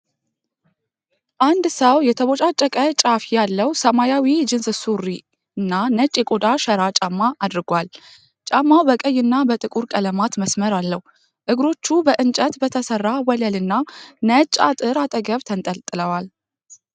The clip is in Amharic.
አንድ ሰው የተቦጫጨቀ ጫፍ ያለው ሰማያዊ ጂንስ ሱሪና ነጭ የቆዳ ሸራ ጫማ አድርጓል። ጫማው በቀይና በጥቁር ቀለማት መስመር አለው። እግሮቹ በእንጨት በተሠራ ወለልና ነጭ አጥር አጠገብ ተንጠልጥለዋል።